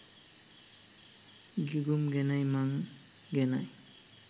ගිගුම් ගැනයි මං ගැනයි